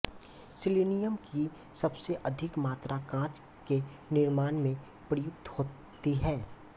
selenium की सबसे अधिक मात्रा काँच के निर्माण में प्रयुक्त होती है